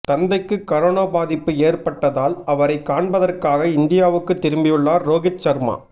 தந்தைக்கு கரோனா பாதிப்பு ஏற்பட்டதால் அவரைக் காண்பதற்காக இந்தியாவுக்குத் திரும்பியுள்ளார் ரோஹித் சர்மா